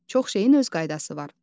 Çox şeyin öz qaydası var.